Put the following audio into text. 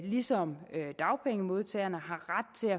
ligesom dagpengemodtagerne har ret til